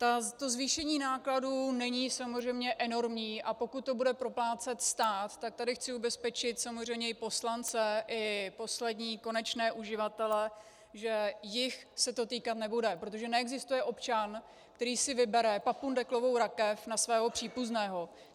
To zvýšení nákladů není samozřejmě enormní, a pokud to bude proplácet stát, tak tady chci ubezpečit samozřejmě i poslance i poslední konečné uživatele, že jich se to týkat nebude, protože neexistuje občan, který si vybere papundeklovou rakev na svého příbuzného.